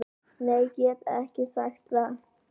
Nei get ekki sagt það.